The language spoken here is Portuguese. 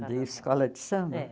De escola de samba? É